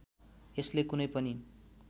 यसले कुनै पनि